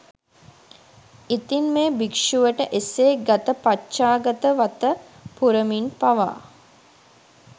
ඉතින් මේ භික්ෂුවට එසේ ගත පච්චාගත වත පුරමින් පවා